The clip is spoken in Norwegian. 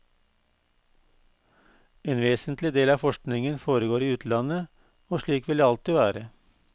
En vesentlig del av forskningen foregår i utlandet, og slik vil det alltid være.